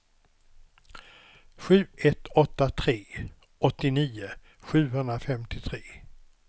sju ett åtta tre åttionio sjuhundrafemtiotre